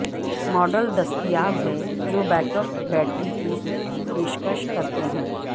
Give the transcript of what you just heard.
model دستیاب ہیں جو بیک اپ بیٹری کی پیشکش کرتے ہیں